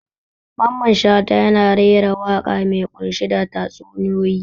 Mamman Shata yana rera waƙa mai ƙunshe da tatsuniyoyi.